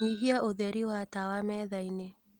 nyihia ūtheri wa tawa methaini